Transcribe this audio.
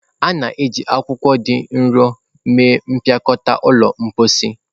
A na-eji akwụkwọ dị nro mee mpịakọta ụlọ mposi.